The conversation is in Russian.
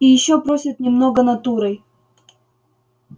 и ещё просят немного натурой